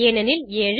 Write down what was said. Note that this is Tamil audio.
ஏனெனில் 7